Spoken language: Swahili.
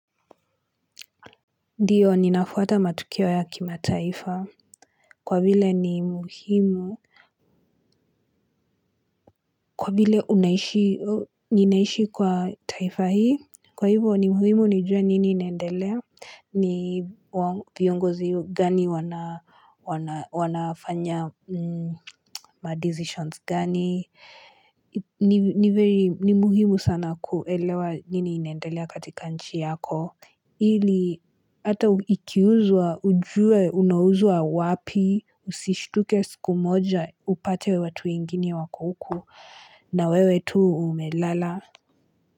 Ndiyo ninafuata matukio ya kimataifa kwa vile ni muhimu Kwa vile unaishi ninaishi kwa taifa hii Kwa hivyo ni muhimu nijue nini inendelea ni viongozi gani wanafanya ma decisions gani ni muhimu sana kuelewa nini inendelea katika nchi yako ili ata ukiuzwa, ujue unauzwa wapi, usishtuke siku moja, upate watu wengine wako huku na wewe tu umelala.